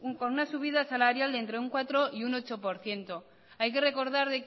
con una subida salarial de entre un cuatro y un ocho por ciento hay que recordar